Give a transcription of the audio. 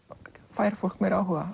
fær fólk meiri áhuga